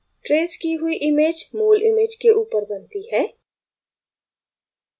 traced की हुई image मूल image के ऊपर बनती है